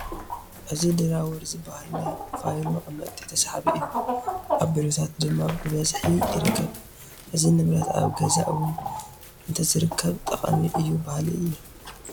እዚ ድራወር ዝበሃል ናይ ፋይል መቐመጢ ተሰሓቢ እዩ፡፡ ኣብ ቢሮታት ድማ ብብዝሒ ይርከብ፡፡ እዚ ንብረት ኣብ ገዛ እውን እንተዝርከብ ጠቓሚ እዩ በሃሊ እየ፡፡